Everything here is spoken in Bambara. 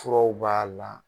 Furaw b'a la